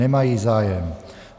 Nemají zájem.